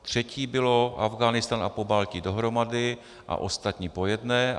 Třetí bylo Afghánistán a Pobaltí dohromady a ostatní po jedné.